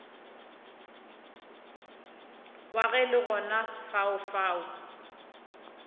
wa ge le gona lefaufau